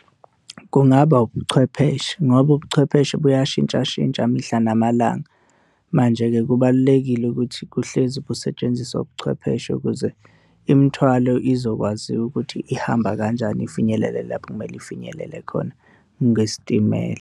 Kungaba ubuchwepheshe ngoba ubuchwepheshe buyashintshashintsha mihla namalanga. Manje-ke kubalulekile ukuthi kuhlezi busetshenziswa ubuchwepheshe ukuze imithwalo izokwaziwa ukuthi ihamba kanjani ifinyelele lapho okumele ifinyelele khona ngesitimela.